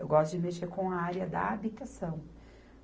Eu gosto de mexer com a área da habitação.